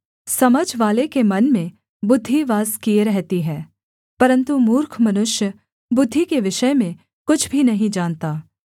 समझवाले के मन में बुद्धि वास किए रहती है परन्तु मूर्ख मनुष्य बुद्धि के विषय में कुछ भी नहीं जानता